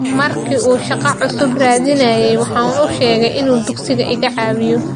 Markii uu shaqo cusub raadinayay waxaan u sheegay inuu dugsiga iga caawiyo.